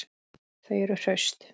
Þau eru hraust